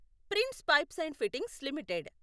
prince Pipes and Fittings limited